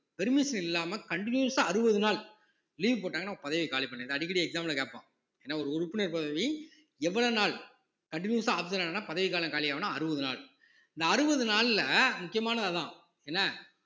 permission இல்லாம continuous ஆ அறுபது நாள் leave போட்டாங்கன்னா பதவியை காலி பண்ணிடு~ அடிக்கடி exam ல கேப்பான் ஏன்னா ஒரு உறுப்பினர் பதவி எவ்வளவு நாள் continuous ஆ absent ஆனான்னா பதவிக்காலம் காலி ஆவும்னா அறுபது நாள் இந்த அறுபது நாள்ல முக்கியமானது அதான் என்ன